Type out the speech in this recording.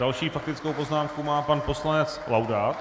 Další faktickou poznámku má pan poslanec Laudát.